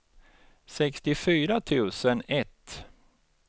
sextiofyra tusen ett